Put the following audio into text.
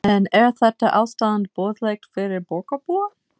En er þetta ástand boðlegt fyrir borgarbúa?